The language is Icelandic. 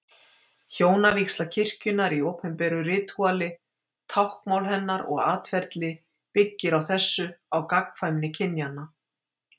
Hjónavígsla kirkjunnar í opinberu ritúali, táknmál hennar og atferli byggir á þessu, á gagnkvæmni kynjanna.